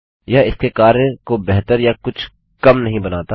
यह इसके कार्य को बेहतर या कुछ कम नहीं बनाता